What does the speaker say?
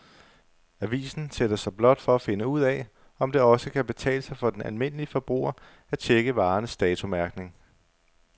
Avisen sætter sig blot for at finde ud af, om det også kan betale sig for den almindelige forbruger at checke varernes datomærkning.